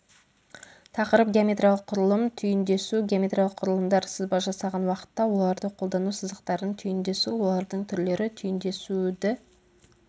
тақырып геометриялық құрылым түйіндесу геометриялық құрылымдар сызба жасаған уақытта оларды қолдану сызықтардың түйіндесуі олардың түрлері түйіндесуді